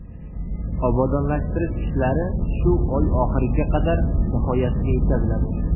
Obodonlashtirish ishlari shu oy oxiriga qadar nihoyasiga yetkaziladi.